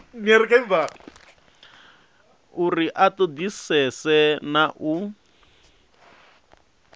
uri a ṱoḓisise na u